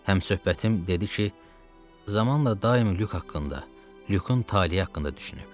Həmsöhbətim dedi ki, zamanla daim Lük haqqında, Lükün taleyi haqqında düşünüb.